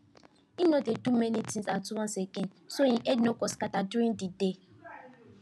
he no dey do many things at once again so him head no go scatter during the day